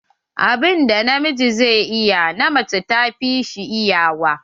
Abun da na miji zai iya, na mace ta fi shi iyawa.